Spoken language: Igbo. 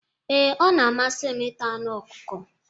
Ee, ọ na-amasị m ịta anụ ọkụkọ.